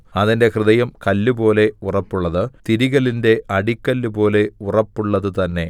അതിന്റെ ഹൃദയം കല്ലുപോലെ ഉറപ്പുള്ളത് തിരികല്ലിന്റെ അടിക്കല്ലുപോലെ ഉറപ്പുള്ളതു തന്നെ